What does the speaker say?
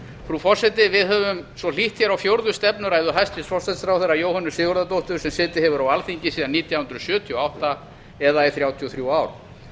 frú forseti við höfum hlýtt á fjórðu stefnuræðu hæstvirts forsætisráðherra jóhönnu sigurðardóttur sem setið hefur á alþingi síðan nítján hundruð sjötíu og átta eða í þrjátíu og þrjú ár